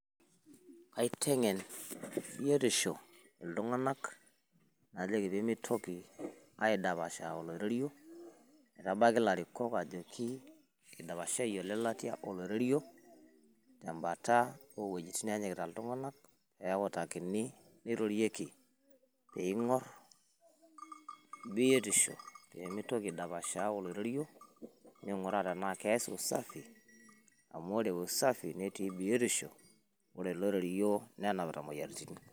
Kaiteng`en biotisho iltung`anak najoki pee mitoki aidapashaa oloirerio. Nebaiki ilarikok ajoki eidapashayie o lelatia oloirerio tembata oo uejitin naajikita iltung`anak pee eutakini neirorieki pee ing`orr biotisho pe mitoki aidapashaa oloirerio neing`uraa tenaa keas usafi. Amu ore usafi netii biotisho ore oloirerio nenapita imoyiaritin.